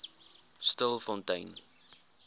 stilfontein